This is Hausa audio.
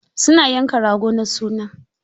Su na yanka rago na suna.